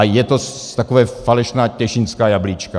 A jsou to taková falešná těšínská jablíčka.